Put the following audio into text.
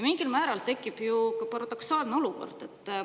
Mingil määral tekib ju ka paradoksaalne olukord.